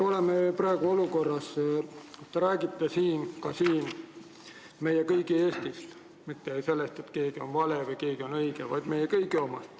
Oleme praegu olukorras, kus te räägite ka siin meie kõigi Eestist – mitte sellest, et keegi on vale ja keegi on õige, vaid meie kõigi Eestist.